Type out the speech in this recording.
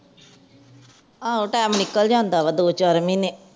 ਆਹੋ ਟਾਈਮ ਨਿਕਲ ਜਾਦਾ ਵਾ ਦੋ ਚਾਰ ਮਹੀਨੇ